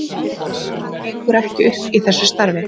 Annað gengur ekki upp í þessu starfi.